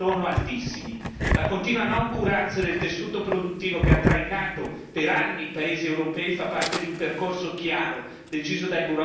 La continua noncuranza del tessuto produttivo che ha trainato per anni i paesi europei fa parte di un percorso chiaro, deciso dai burocrati di Bruxelles.